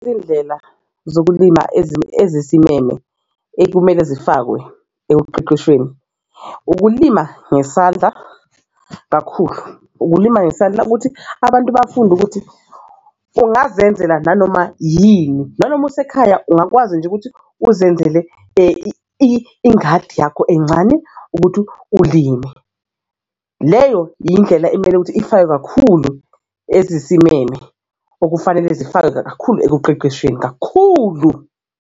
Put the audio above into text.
Izindlela zokulima ezisimeme ekumele zifakwe ekuqeqeshweni ukulima ngesandla kakhulu, ukulima ngesandla ukuthi abantu bafunde ukuthi ungazenzela nanoma yini nanoma usekhaya ungakwazi nje ukuthi uzenzele ingadi yakho encane ukuthi ulime. Leyo indlela ekumele ukuthi ifakwe kakhulu ezisimeme okufanele zifakwe kakhulu ekuqeqeshweni kakhulu.